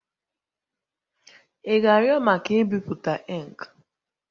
Ị ga-arịọ maka ibipụta ink?